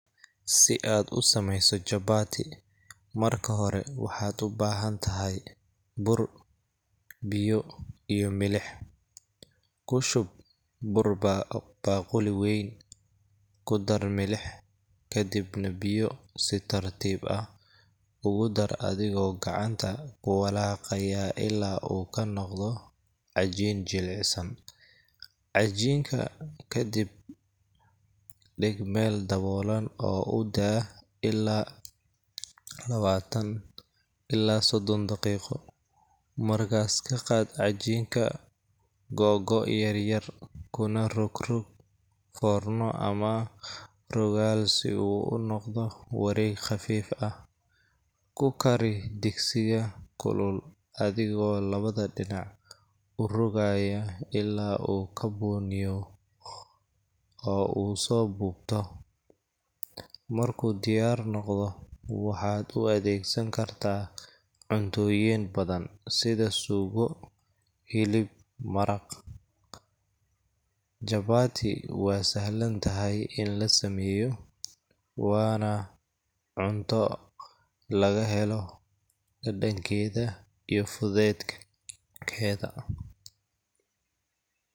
Si aad u samayso chapati, marka hore waxaad u baahan tahay bur, biyo, iyo milix . Ku shub bur baaquli weyn, ku dar milix, kadibna biyo si tartiib ah ugu dar adigoo gacanta ku walaaqaya ilaa uu ka noqdo cajiin jilicsan. Cajiinka ka dib dhig meel daboolan oo u daa ilaa lawatan ilaa sodddon daqiiqo. Markaas ka qaad cajiinka googo’ yar-yar, kuna rogrog foorno ama rogaal si uu u noqdo wareeg khafiif ah. Ku kari digsiga kulul adigoo labada dhinac u rogaaya ilaa uu ka bunniyo oo uu soo buubto. Markuu diyaar noqdo, waxaad u adeegsan kartaa cuntooyin badan sida suugo, hilib maraq. Chapati waa sahlan tahay in la sameeyo, waana cunto laga helo dhadhankeeda iyo fudaydkeeda.